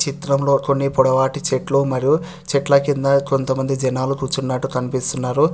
చిత్రంలో కొన్ని పొడవాటి చెట్లు మరియు చెట్ల కింద కొంతమంది జనాలు కూర్చునట్టు కనిపిస్తున్నారు